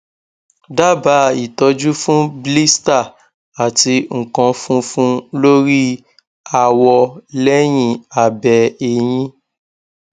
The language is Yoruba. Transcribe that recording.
daba itoju fun blister ati nkan funfun lori awo leyin abe eyin